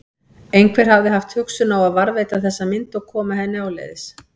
Einhver hafði haft hugsun á að varðveita þessa mynd og koma henni áleiðis.